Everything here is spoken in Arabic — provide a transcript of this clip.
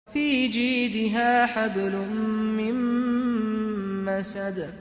فِي جِيدِهَا حَبْلٌ مِّن مَّسَدٍ